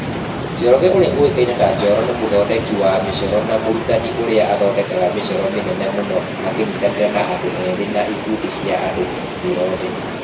Njoroge ũrĩa ũĩkaine ta Njoro ni mũthondeki wa mĩcoro na mũrutani ũrĩa athondekaga mĩcoro mĩnene mũno akĩnyitanĩra na andũ ethĩ na ĩkundi cia andũ thĩ yothe.